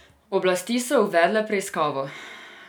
Oblasti so uvedle preiskavo.